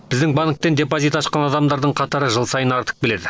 біздің банктен депозит ашқан адамдардың қатары жыл сайын артып келеді